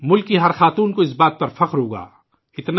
ملک کی ہر خواتین کو اس بات پر فخر ہوگا